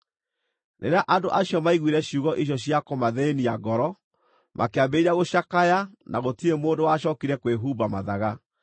Rĩrĩa andũ acio maiguire ciugo icio cia kũmathĩĩnia ngoro, makĩambĩrĩria gũcakaya na gũtirĩ mũndũ wacookire kwĩhumba mathaga.